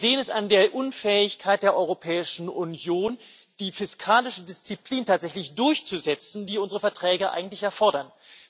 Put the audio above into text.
Wir sehen es an der Unfähigkeit der Europäischen Union, die fiskalische Disziplin tatsächlich durchzusetzen, die unsere Verträge eigentlich erfordern.